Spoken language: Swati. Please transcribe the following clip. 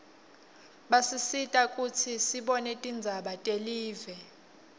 basisita kutsi sibone tindzaba telive